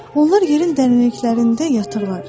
Onlar yerin dərinliklərində yatırlar.